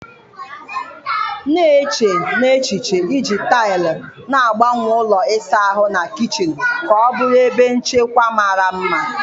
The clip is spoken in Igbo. Na-eche n'echiche iji taịlị na-agbanwe ụlọ ịsa ahụ na kichin ka ọ bụrụ ebe nchekwa mara mma